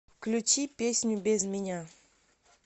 включи песню без меня